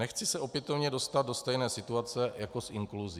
Nechci se opětovně dostat do stejné situace jako s inkluzí.